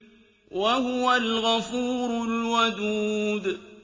وَهُوَ الْغَفُورُ الْوَدُودُ